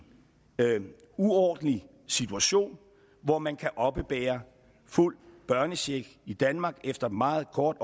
uordentlig situation hvor man kan oppebære fuld børnecheck i danmark efter meget kort